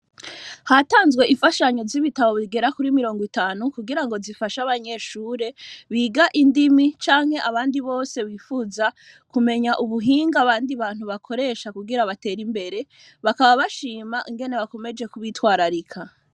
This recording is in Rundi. Hatanzwe infashanyo z’ibitabo bigera kuri mirongw’itanu kugirango zifash’abanyeshure biga indimi canke abandi bose bipfuza kumenya ubuhinga abandi bantu bakoresha kugira bater’imbere ,bakaba bashima ingene bakomeje kubitwararika.